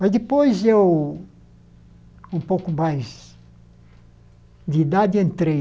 Mas depois eu, um pouco mais de idade, entrei.